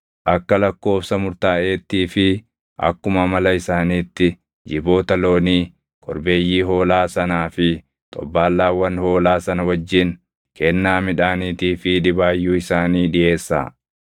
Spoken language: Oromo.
Akka lakkoobsa murtaaʼeettii fi akkuma amala isaaniitti jiboota loonii, korbeeyyii hoolaa sanaa fi xobbaallaawwan hoolaa sana wajjin kennaa midhaaniitii fi dhibaayyuu isaanii dhiʼeessaa.